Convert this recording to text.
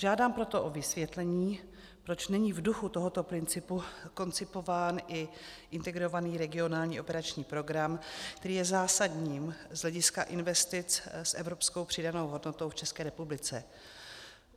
Žádám proto o vysvětlení, proč není v duchu tohoto principu koncipován i Integrovaný regionální operační program, který je zásadním z hlediska investic s evropskou přidanou hodnotou v České republice.